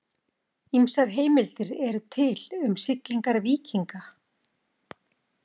Ýmsar heimildir eru til um siglingar víkinga.